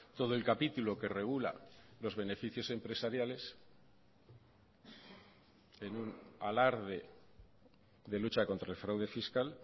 todo el capítulo que regula los beneficios empresariales en un alarde de lucha contra el fraude fiscal